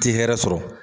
Ti hɛrɛ sɔrɔ